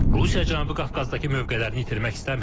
Rusiya Cənubi Qafqazdakı mövqelərini itirmək istəmir.